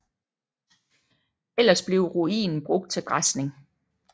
Ellers blev ruinen brugt til græsning